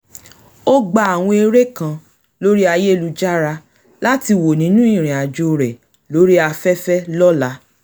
ó gba àwọn eré kan lórí ayélujára láti wo nínú ìrìn àjò rè lórí afẹ́fẹ́ lọ́la